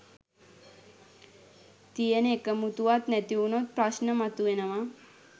තියෙන එකමුතුවත් නැතිවුණොත් ප්‍රශ්න මතුවෙනවා.